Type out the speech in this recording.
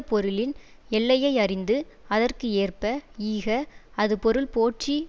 பொருளின் எல்லையை அறிந்து அதற்கு ஏற்ப ஈக அது பொருள்போற்றி